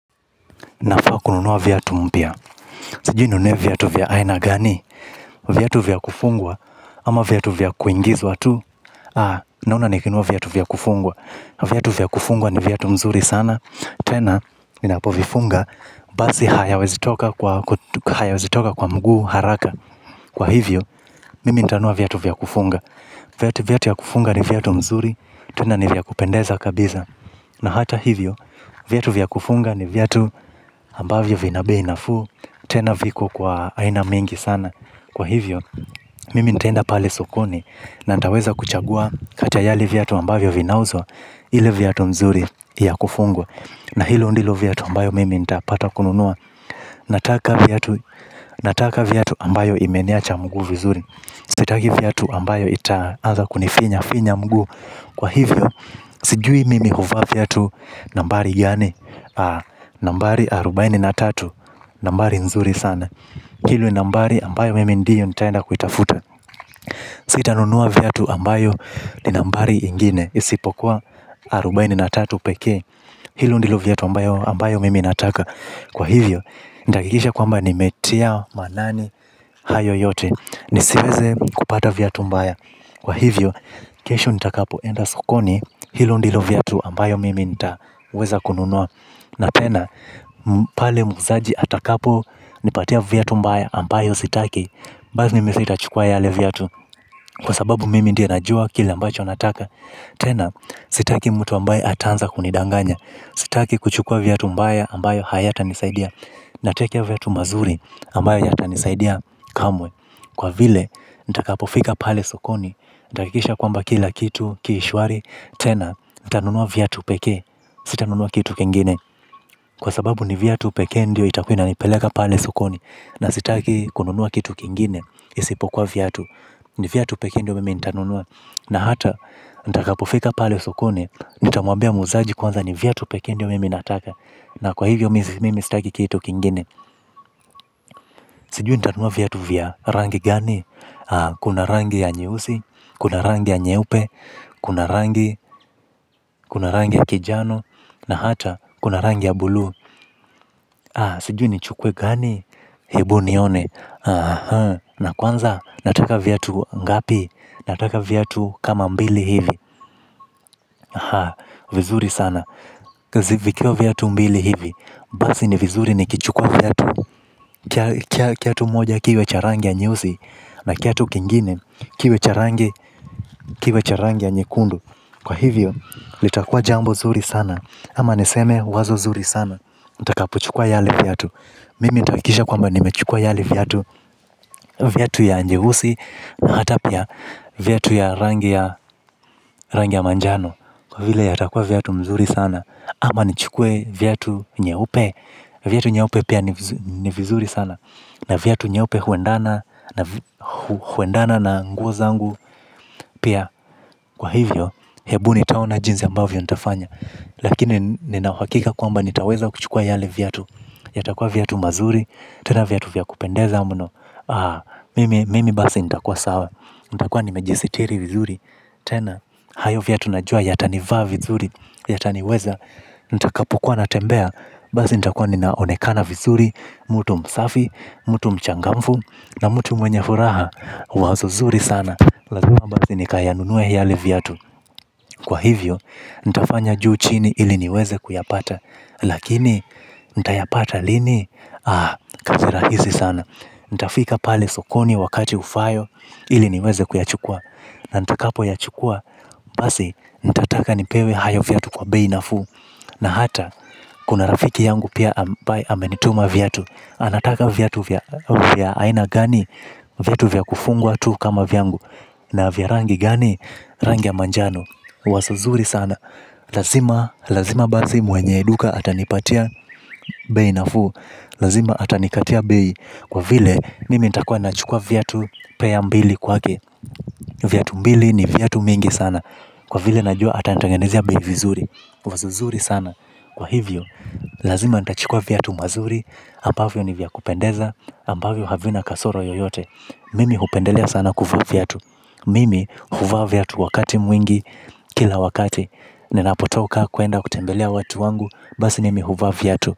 Na faa kununuwa viatu mpya. Sijui ninunue vyatu vya aina gani. Vyatu vyakufungwa ama vyatu vyakuingizwa tu. Nauna nikinua vyatu vyakufungwa. Vyatu vyakufungwa ni vyatu mzuri sana. Tena minapo vifunga bazi hayawezi toka kwa mguu haraka. Kwa hivyo, mimi intanua vyatu vyakufunga. Vyatu vya kufunga ni vyatu mzuri. Tena ni vyakupendeza kabiza. Na hata hivyo, vyatu vyakufunga ni vyatu ambavyo vinabe inafu tena viko kwa aina mingi sana kwa hivyo mimi ntaenda pale sokoni na ntaweza kuchagua kata yali vyatu ambavyo vinauzwa ile vyatu mzuri ya kufungwa na hilo ndilo vyatu ambayo mimi ntapata kununua nataka vyatu ambayo imeniacha mguu vizuri sitagi vyatu ambayo ita aza kunifinya finya mguu kwa hivyo sijui mimi huvaa vyatu nambari gani. Nambari arobaini na tatu. Nambari nzuri sana. Hilo nambari ambayo mimi ndiyo nitaenda kuitafuta. Sita nunua vyatu ambayo ni nambari ingine. Isipokuwa arobaini na tatu peke. Hilo ndilo vyatu ambayo mimi nataka. Kwa hivyo, nitaakikisha kwamba ni metia manani hayo yote. Nisiweze kupata vyatu mbaya. Kwa hivyo, kesho nita kapo enda sukoni. Hilo ndilo vyatu ambayo mimi nitaweza kununua. Na tena, pale muuzaji atakapu nipatia vyatu mbaya ambayo sitaki. Bazi ni misitachukua yale vyatu. Kwa sababu mimi ndia najua kila mbacho nataka. Tena, sitaki mtu ambaye atanza kunidanganya. Sitaki kuchukua vyatu mbaya ambayo hayata nisaidia. Nataka vyatu mazuri ambayo yata nisaidia kamwe. Kwa vile, nitakapo fika pale sokoni. Ndakikisha kwamba kila kitu kishwari. Tena, nitanunua vyatu peke. Sitanunua kitu kengene. Kwa sababu ni vyatu peke ndio itakuwina ni peleka pale sukoni. Na sitaki kununua kitu kingine. Isipokuwa vyatu. Ni vyatu pekendio mimi intanunua. Na hata, nitakapofika pale sukoni. Nitamuambia muzaji kwanza ni vyatu peke ndio mime nataka. Na kwa hivyo mimi sitaki kitu kingine. Sijui nitanunua vyatu vya rangi gani. Kuna rangi ya nyeusi. Kuna rangi ya nyeupe. Kuna rangi kuna rangi ya kijano. Na hata, kuna rangi ya bulu. Sijui nichukuwe gani. Hebu nione. Na kwanza nataka vyatu ngapi. Nataka vyatu kama mbili hivi vizuri sana zikiwa vyatu mbili hivi mbasi ni vizuri nikichukua vyatu. Kiatu moja kiwe cha rangi ya nyeusi ni kiatu kingine kiwe cha rangi kiwe charangi ya nyekundu. Kwa hivyo litakua jambo zuri sana. Ama niseme wazo zuri sana. Itakapochukua yale vyatu. Mimi itakikisha kwamba nimechukua yale vyatu vyatu ya nyeusi na hata pia. Vyatu ya rangi ya manjano. Kwa vile yatakua vyatu mzuri sana. Ama nchukue vyatu nyeupe. Vyatu nyeupe pia ni vizuri sana. Na vyatu nyeupe huendana huendana na nguo zangu pia. Kwa hivyo hebu ni taona jinzi ambavyo ni tafanya. Lakini ni nawakika kwa mba. Nitaweza kuchukua yale vyatu. Yatakua vyatu mzuri. Tena vyatu vya kupendeza muno. Mimi basi nita kwa sawa. Nita kwa ni majisitiri vizuri. Tena, hayo vyatu najua. Yata ni vaa vizuri, yata niweza. Nita kapokua na tembea. Basi nita kwa ni naonekana vizuri. Mutu msafi, mutu mchangamfu. Na mutu mwenye furaha. Wazo zuri sana. Lazima bazi ni kayanunue hiali vya tu. Kwa hivyo, nitafanya juu chini. Ili niweze kuyapata. Lakini, nita yapata lini. Ah, kazi rahisi sana. Ntafika pale sokoni wakati ufayo ili niweze kuyachukua. Na ntakapo yachukua basi ntataka nipewe hayo vyatu kwa beinafu. Na hata kuna rafiki yangu pia amenituma vyatu. Anataka vyatu vya aina gani vyatu vya kufungwa tu kama vyangu. Na vyarangi gani rangia manjano. Wasuzuri sana. Lazima bazi mwenye eduka atanipatia bei nafuu. Lazima atanikatia bei. Kwa vile, mimi itakua na chukua vyatu peya mbili kwa ke. Vyatu mbili ni vyatu mingi sana. Kwa vile najua ata natangenezea bei vizuri. Wazo zuri sana kwa hivyo lazima ntachukua vyatu mazuri. Ampavyo ni vya kupendeza. Ampavyo havina kasoro yoyote. Mimi hupendelea sana kuvaa vyatu. Mimi huva vyatu wakati mwingi, kila wakati. Ninapotoka kuenda kutembelea watu wangu, basi nimi huvaa vyatu.